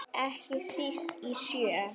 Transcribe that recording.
Ekki síst í sjö.